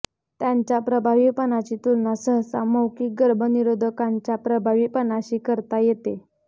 त्यांच्या प्रभावीपणाची तुलना सहसा मौखिक गर्भनिरोधकांच्या प्रभावीपणाशी करण्यात येते